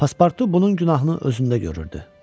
Paspartu bunun günahını özündə görürdü.